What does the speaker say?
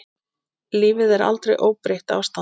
Lífið er aldrei óbreytt ástand.